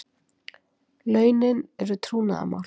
Launin eru trúnaðarmál